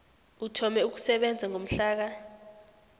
uthome ukusebenza ngomhlaka